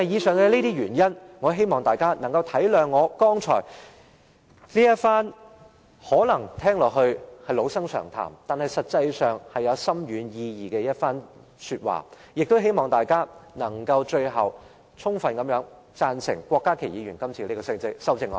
正因這些原因，我希望大家能夠明瞭我剛才這番可能聽起來是老生常談，但實際上是具深遠意義的說話，亦希望大家最後能支持郭家麒議員的修正案。